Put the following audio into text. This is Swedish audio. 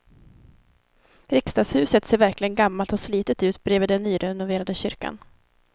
Riksdagshuset ser verkligen gammalt och slitet ut bredvid den nyrenoverade kyrkan.